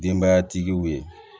Denbatigiw ye